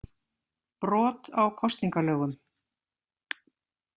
Brot á kosningalögum.